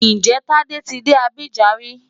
Ǹjẹ́ Tádé ti dé Abidjan rí?